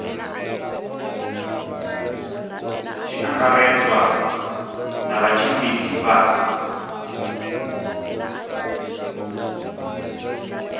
tshi angaredzwa na vhatshimbidzi vha